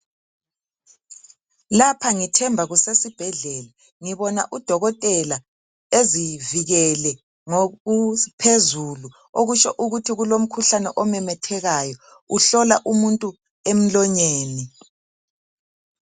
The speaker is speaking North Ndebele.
Lapha ngithemba kusesibhedlela ngibona udokotela ezivikele ngokuphezulu okutsho ukuthi kulomkhuhlane omemethekayo, uhlola umuntu emlonyeni.